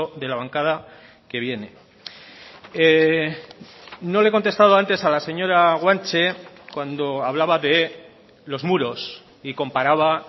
de la bancada que viene no le he contestado antes a la señora guanche cuando hablaba de los muros y comparaba